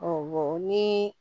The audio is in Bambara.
ni